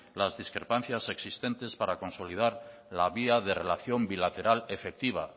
las discrepancias existentes para consolidar la vía de relación bilateral efectiva